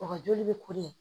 O ka joli bɛ ko ye